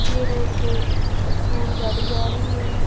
ये रोड पे स्कूल गाड़ी जा रही है।